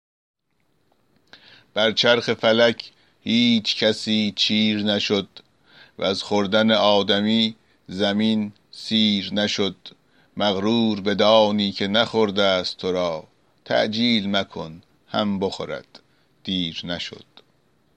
بر چرخ فلک هیچ کسی چیر نشد وز خوردن آدمی زمین سیر نشد مغرور بدانی که نخورده ست تو را تعجیل مکن هم بخورد دیر نشد